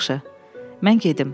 Yaxşı, mən gedim.